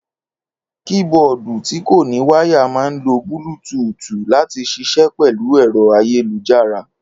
Kííboọ̀dù tí kò ní wáyà máà ńlo búlútuùtù láti ṣiṣẹ́ pẹ̀lú ẹ̀rọ ayélujára